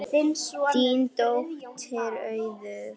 Þín dóttir, Auður.